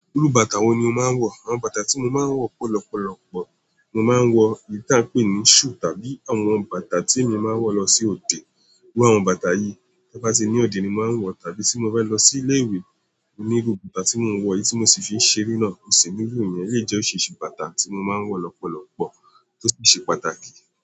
Irú bàtà wo ni o máa ń wọ̀? Awọn bàtà tí mo máa ń wọ̀ pọ lọpọlọpọ, mo máa ń wọ̀ èyí tí a ń pè ní shoe tàbí àwọn bàtà tí èmi máa ń wọ̀ lọ sí òde. Irú àwọn bàtà yìí, tí mo bá tí ní òde ni mo máa ń wọ̀, tàbí tí mo bá lọ sí ilé ìwé, mo ní irú bàtà tí mò ń wọ̀ eyìí tí mo sì fi ń ṣeré náà. Kò sì nílò ìyẹn, lèyii ti ò ṣìṣe bàtà tí mo máa ń wọ̀ lọpọlọpọ, tó sì ṣe pàtàkì.